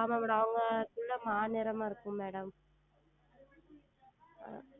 ஆமாம் Madam அவங்கள் பிள்ளை மாநிறமாக இருக்கும் Madam